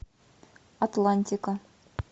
атлантика